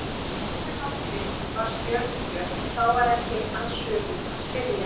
Önnur nóttin var stjörnubjört og þá var ekki að sökum að spyrja.